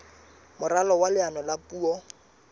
moralo wa leano la puo